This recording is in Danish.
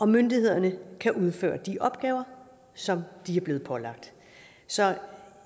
myndighederne kan udføre de opgaver som de er blevet pålagt så